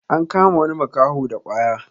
an kama wani makaho da kwaya